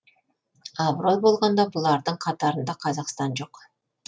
абырой болғанда бұлардың қатарында қазақстан жоқ